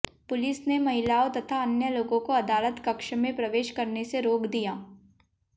police ने महिलाओं तथा अन्य लोगों को अदालत कक्ष में प्रवेश करने से रोक दिया